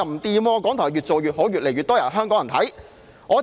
港台反而越做越好，越來越多香港人收看。